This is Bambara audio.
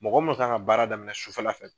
Mɔgɔ mun kan ka baara daminɛ sufɛ la fɛ